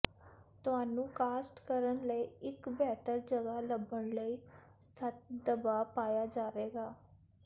ਤੁਹਾਨੂੰ ਕਾਸਟ ਕਰਨ ਲਈ ਇੱਕ ਬਿਹਤਰ ਜਗ੍ਹਾ ਲੱਭਣ ਲਈ ਸਖ਼ਤ ਦਬਾਅ ਪਾਇਆ ਜਾਵੇਗਾ